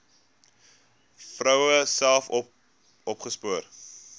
vroue self opgespoor